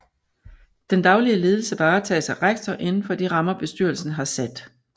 Den daglige ledelse varetages af rektor inden for de rammer bestyrelsen har sat